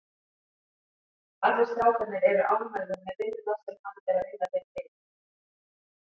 Allir strákarnir eru ánægður með vinnuna sem hann er að vinna fyrir liðið.